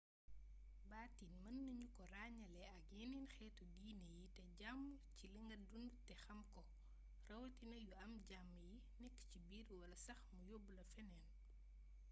baatin meenagnuko ragnélé ak yénén xétu diiné yi té jaamu ci linga dundu té xamko rawatina yu am jam yi nékk ci biir wala sax mu yobbla fénéén